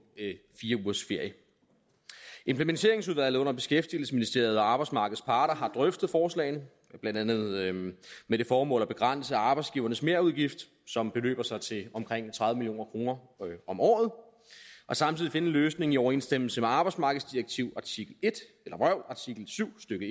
fire ugers ferie implementeringsudvalget under beskæftigelsesministeriet og arbejdsmarkedets parter har drøftet forslagene blandt andet med det formål at begrænse arbejdsgivernes merudgift som beløber sig til omkring tredive million kroner om året og samtidig finde en løsning i overensstemmelse med arbejdsmarkedsdirektivets artikel syv stykke